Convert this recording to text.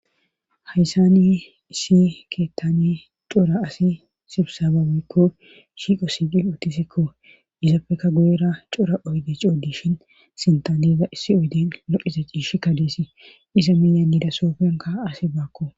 hayssani issi keettane cora asi sibsabawaykko shiiqo siiqi uttisikko izapfeka guyera cora oyde coodishin sintaneza issi oyden loqiza ciishi kadeesi isa miyanida soofenka asi baakko